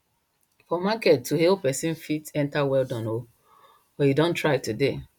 for market to hail person fit enter well Accepted o or you don try today